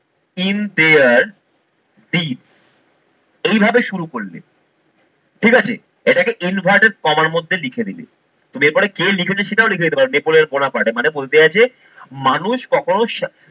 in there এইভাবে শুরু করলে ঠিক আছে? এটাকে inverted coma এর মধ্যে লিখে দেবে। এরপরে কে লিখেছে সেটাও লিখে দিতে পারো নেপোলের বোঁনা পার্টে মানে বলতে আছে মানুষ কখনো